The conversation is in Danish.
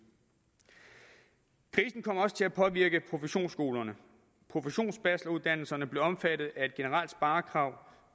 kom også til at påvirke professionsskolerne professionsbacheloruddannelserne blev omfattet af et generelt sparekrav